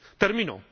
Termino